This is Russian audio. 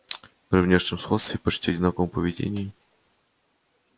при внешнем сходстве и почти одинаковом поведении